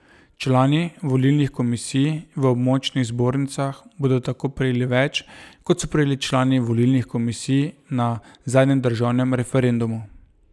Člani volilnih komisij v območnih zbornicah bodo tako prejeli več, kot so prejeli člani volilnih komisij na zadnjem državnem referendumu.